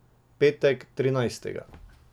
Petek, trinajstega.